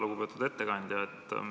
Lugupeetud ettekandja!